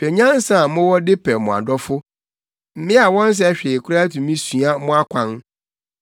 Hwɛ nyansa a mowɔ de pɛ mo adɔfo! Mmea a wɔnsɛ hwee koraa tumi sua mo akwan.